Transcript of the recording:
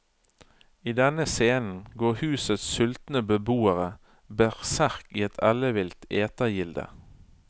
I denne scenen går husets sultne beboere berserk i et ellevilt etegilde.